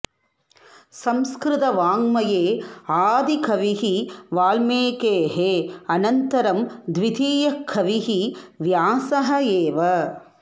संस्कृतवाङ्मये आदिकविः वाल्मीकेः अनन्तरं द्वितीयः कविः व्यासः एव